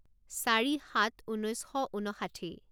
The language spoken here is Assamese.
চাৰি সাত ঊনৈছ শ ঊনষাঠি